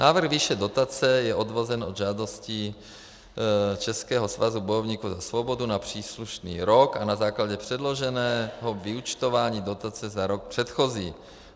Návrh výše dotace je odvozen od žádostí Českého svazu bojovníků za svobodu na příslušný rok a na základě předloženého vyúčtování dotace za rok předchozí.